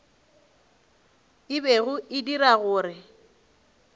e bego e dira gore